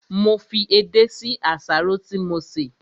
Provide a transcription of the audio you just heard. Mo fi edé sí àsáró tí mo sè